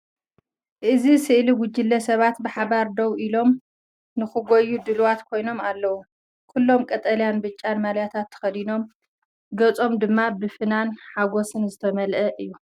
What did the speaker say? ኣብዚ ስእሊ ጉጅለ ሰባት ብሓባር ደው ኢሎም፡ ንኽጎዩ ድሉዋት ኮይኖም ኣለዉ። ኩሎም ቀጠልያን ብጫን ማልያታት ተኸዲኖም፡ ገጾም ድማ ብፍናንን ሓጎስን ዝተመልአ እዩ።